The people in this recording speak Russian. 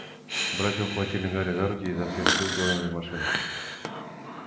братья ухватили гарри за руки и изо всех сил дёрнули в машину